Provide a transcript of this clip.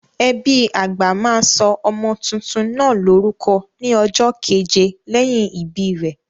Ẹbí àgbà máa sọ ọmọ tuntun náà lórúkọ ní ọjọ́ keje lẹ́yìn ìbí rẹ̀.